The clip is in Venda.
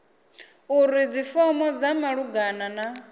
uri dzifomo dza malugana na